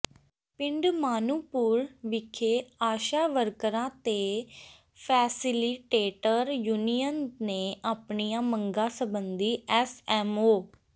ਪਿੰਡ ਮਾਨੂੰਪੁਰ ਵਿਖੇ ਆਸ਼ਾ ਵਰਕਰਾਂ ਤੇ ਫੈਸਿਲੀਟੇਟਰ ਯੂਨੀਅਨ ਨੇ ਆਪਣੀਆਂ ਮੰਗਾਂ ਸਬੰਧੀ ਐੱਸਐੱਮਓ